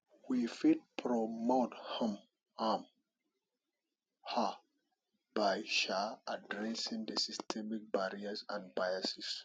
we fit promote um am um by um adressing di systemic barriers and biases